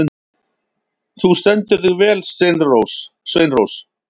Þú stendur þig vel, Sveinrós!